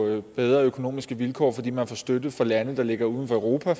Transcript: bedre økonomiske vilkår fordi man får støtte fra lande der ligger uden for europa der